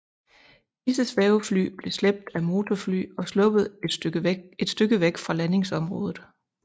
Disse svævefly blev slæbt af motorfly og sluppet et stykke væk fra landingsområdet